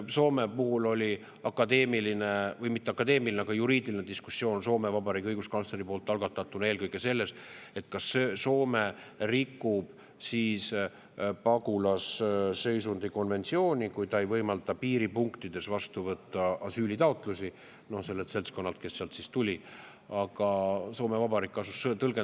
Soome puhul oli akadeemiline või mitte akadeemiline, vaid juriidiline diskussioon Soome Vabariigi õiguskantsleri algatatuna eelkõige selles, kas Soome rikub siis pagulasseisundi konventsiooni, kui ta ei võimalda piiripunktides vastu võtta asüülitaotlusi sellelt seltskonnalt, kes sealt tuli.